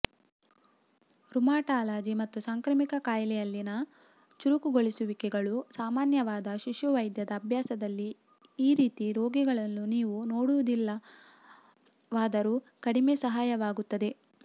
rheumatology ಮತ್ತು ಸಾಂಕ್ರಾಮಿಕ ಕಾಯಿಲೆಯಲ್ಲಿನ ಚುರುಕುಗೊಳಿಸುವಿಕೆಗಳು ಸಾಮಾನ್ಯವಾದ ಶಿಶುವೈದ್ಯದ ಅಭ್ಯಾಸದಲ್ಲಿ ಈ ರೀತಿಯ ರೋಗಿಗಳನ್ನು ನೀವು ನೋಡುವುದಿಲ್ಲವಾದರೂ ಕಡಿಮೆ ಸಹಾಯವಾಗುತ್ತದೆ